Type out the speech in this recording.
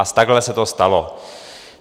A takhle se to stalo.